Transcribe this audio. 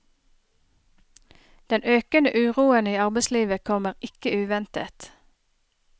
Den økende uroen i arbeidslivet kommer ikke uventet.